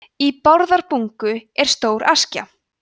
í bárðarbungu er stór askja